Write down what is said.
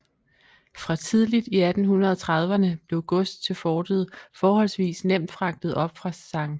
Fra tidligt i 1830erne blev gods til fortet forholdsvis nemt fragtet op fra St